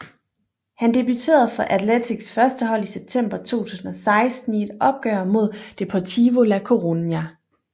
Han debuterede for Athletics førstehold i september 2016 i et opgør mod Deportivo La Coruña